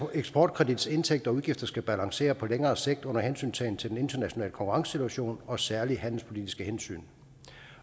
eksportkredits indtægter og udgifter skal balancere på længere sigt under hensyntagen til den internationale konkurrencesituation og særlige handelspolitiske hensyn